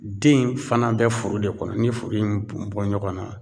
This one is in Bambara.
Den in fana bɛ furu de kɔnɔ, ni ye furu in bun bun ɲɔgɔnna